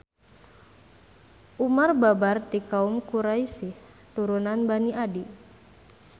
Umar babar ti kaum Quraisy turunan Bani Adi.